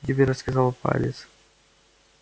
тебе рассказал палец